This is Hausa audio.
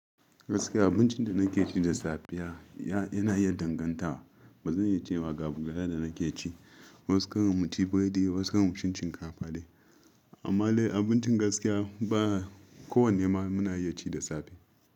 Gaskiya abincin da na ke ci da safiya, yana iya danganta. Ba zan iya cewa ga abu guda da na ke ci. Wasu karan mu ci biredi, wasu karan mu ci shinkafa dai. Amma dai abincin gaskiya, kowanne ma muna iya ci da safe.